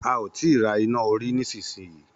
A ò tí ra iná orí nísinsìnyí.